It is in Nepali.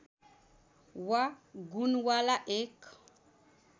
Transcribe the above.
वा गुणवाला एक